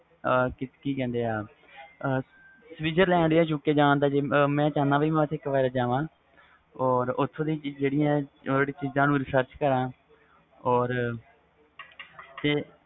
ਕਿ ਕਹਿੰਦੇ switzerland, UK ਵ ਜਾਨ ਦਾ ਮੈਂ ਚਾਹੁੰਦਾ ਵ ਇਕ ਵਾਰ ਜਾਵਾ ਤੇ ਓਥੋਂ ਦੀਆ ਚੀਜ਼ ਨੂੰ resarch ਕਰਾ